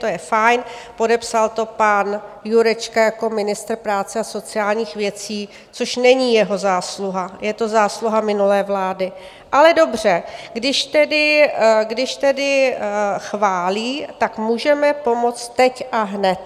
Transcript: To je fajn, podepsal to pan Jurečka jako ministr práce a sociálních věcí, což není jeho zásluha, je to zásluha minulé vlády, ale dobře - když tedy chválí, tak můžeme pomoct teď a hned.